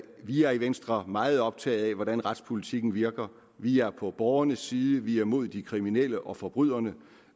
vi er i venstre meget optaget af hvordan retspolitikken virker vi er på borgernes side vi er imod de kriminelle og forbryderne